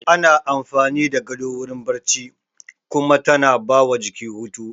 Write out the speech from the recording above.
Ana amfani da gado wurin barci kuma tana ba wa jiki hutu